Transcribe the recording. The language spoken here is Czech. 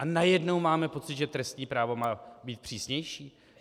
A najednou máme pocit, že trestní právo má být přísnější?